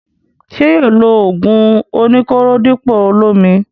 Ṣé yóò lo ògùn oní kóró dípò olómi?